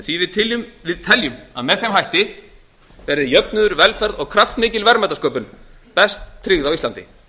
því við teljum að með þeim hætti verði jöfnuður velferð og kraftmikil verðmætasköpun best tryggð á íslandi